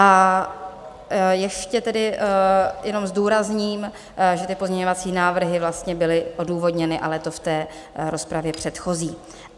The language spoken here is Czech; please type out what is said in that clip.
A ještě tedy jenom zdůrazním, že ty pozměňovací návrhy vlastně byly odůvodněny, ale to v té rozpravě předchozí.